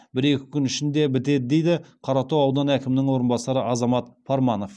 бір екі күн ішінде бітеді дейді қаратау ауданы әкімінің орынбасары азамат парманов